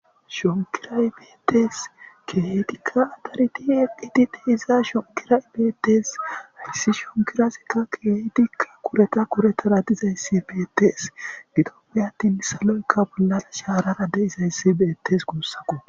Shonkiray betes kehidika daridi eqidi diza shonkiray betese shonkiray betes haysi shonkirazika kehidika kurete kuretara dizaysi betes gidoppe atin saloyka bollara sarara de'izaysi betes gusako